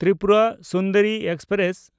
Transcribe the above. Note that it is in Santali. ᱛᱨᱤᱯᱩᱨᱟ ᱥᱩᱱᱫᱚᱨᱤ ᱮᱠᱥᱯᱨᱮᱥ